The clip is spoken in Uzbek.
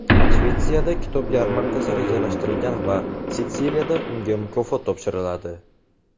Shvetsiyada kitob yarmarkasi rejalashtirilgan va Sitsiliyada unga mukofot topshiriladi.